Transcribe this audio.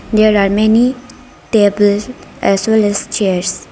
there are many tables as well as chairs.